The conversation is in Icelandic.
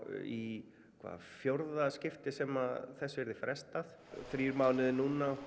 í hvað fjórða skiptið sem þessu yrði frestað þrír mánuðir núna